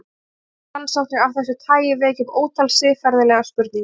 Líffræðirannsóknir af þessu tagi vekja upp ótal siðferðilegar spurningar.